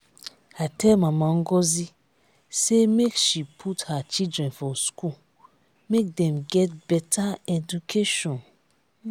i tell mama ngozi sey make she put her children for school make dem get beta education.